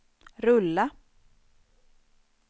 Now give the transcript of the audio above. rulla